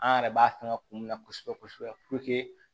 An yɛrɛ b'a fɛngɛ kun min na kosɛbɛ kosɛbɛ